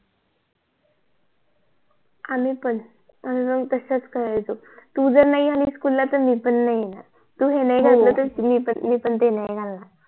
आम्ही पण आम्ही पण तसच करायचो तू जर नाही आली SCHOOL ला तर मी पण नाही येणार तू हे नाही घातलं तर मी पण ते नाही घालणार